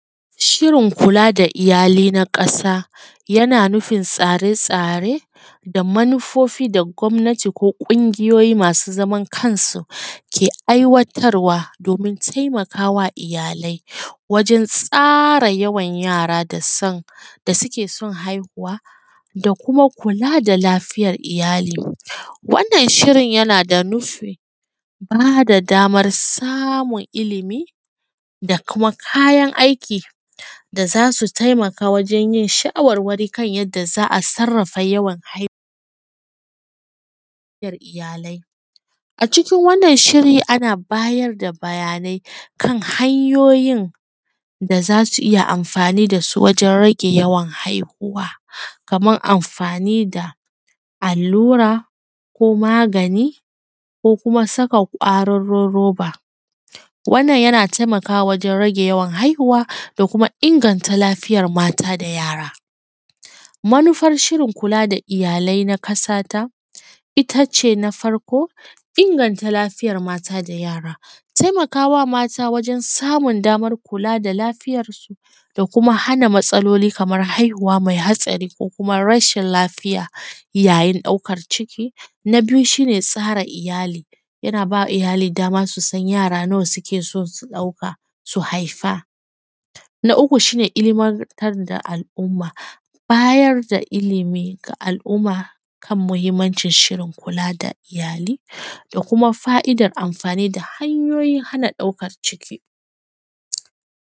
Shirin kula da iyali na ƙasa yana nufin tsare-tsare da manufofi da gwamnati ko ƙungiyoyi masu zaman kansu ke aiwatarwa domin taimaka wa iyalai wajen tsara yawan yara da son, da suke son haihuwa da kuma kula da lafiyar iyali. Wannan Shirin yana da nufin ba da damar samun ilimi da kuma kayan aiki da za su taimakawa wajen yin shawarwari kan yadda za a sarrafa yawan hai…… iyalai. A cikin wannan shiri ana bayar da bayanai kan hanyoyin da za su yi amfani da su wajen rage yawan haihuwa, kaman amfani da allura ko magani ko kuma saka kwaririn roba. Wannan yana taimakawa wajen rage yawan haihuwa da kuma inganta lafiyar mata da yara. Manufar Shirin kula da iyalai na ƙasata, ita ce na farko, inganta lafiyar mata da yara, taimaka wa mata wajen samun damar kula da lafiyarsu da kuma hana matsaloli kamar haihuwa mai hatsari ko kuma rshin lafiya yayin ɗaukar ciki. Na biyu shi ne tsara iyali, yana bai wa iyali dama su san yara nawa suke so su ɗauka, su haifa. Na uku shi ne ilimantar da al’umma, bayar da ilimi ga al’umma kan muhimmancin Shirin kula da iyali da kuma fa’idar kula da hanyoyin hana ɗaukar ciki.